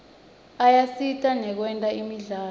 ayasita nakwetemidlalo